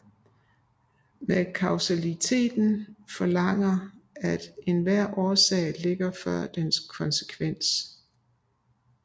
Men Kausaliteten forlanger at enhver årsag ligger før dens konsekvens